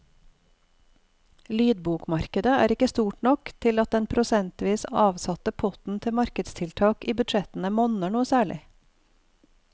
Lydbokmarkedet er ikke stort nok til at den prosentvis avsatte potten til markedstiltak i budsjettene monner noe særlig.